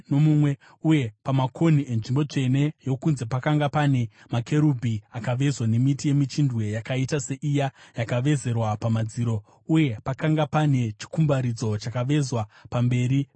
Uye pamakonhi enzvimbo tsvene yokunze pakanga pane makerubhi akavezwa nemiti yemichindwe yakaita seiya yakavezerwa pamadziro, uye pakanga pane chikumbaridzo chakavezwa pamberi pebiravira.